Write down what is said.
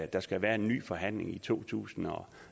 der skal være en ny forhandling omkring to tusind og